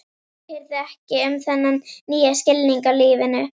Ég hirði ekki um þennan nýja skilning á lífinu.